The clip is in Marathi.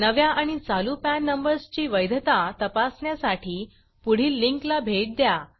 नव्या आणि चालू पॅन नंबर्स ची वैधता तपासण्यासाठी पुढील लिंकला भेट द्या